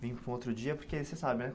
Vim para um outro dia porque, você sabe, né?